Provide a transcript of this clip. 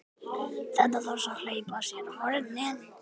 Þetta þarf að hlaupa af sér hornin!